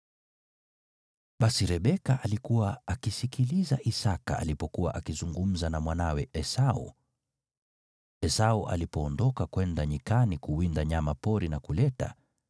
Basi Rebeka alikuwa akisikiliza Isaki alipokuwa akizungumza na mwanawe Esau. Esau alipoondoka kwenda nyikani kuwinda nyama pori na kuleta,